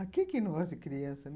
A quem que não gosta de criança, né?